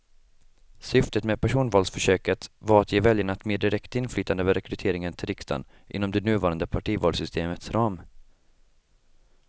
Syftet med personvalsförsöket var att ge väljarna ett mer direkt inflytande över rekryteringen till riksdagen inom det nuvarande partivalssystemets ram.